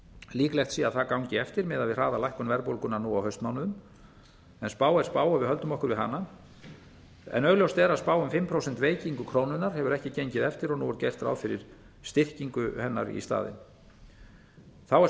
líklegt sé að það gangi eftir miðað við það að lækkun verðbólgunnar nú á haustmánuðum en spá er spá ef við höldum okkur við hana augljóst er að spá um fimm prósent veikingu krónunnar hefur ekki gengið eftir og nú er gert ráð fyrir styrkingu hennar í staðinn þá er